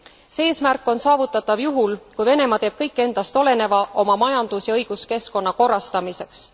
See eesmärk on saavutatav juhul, kui Venemaa teeb kõik endast oleneva oma majandus ja õiguskeskkonna korrastamiseks.